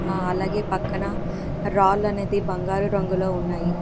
అ అలాగే పక్కన రాళ్లనేది బంగారు రంగులో ఉన్నాయి.